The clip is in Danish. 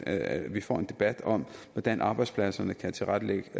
at vi får en debat om hvordan arbejdspladserne kan tilrettelægge